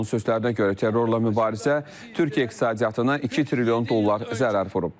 Onun sözlərinə görə terrorla mübarizə Türkiyə iqtisadiyyatına 2 trilyon dollar zərər vurub.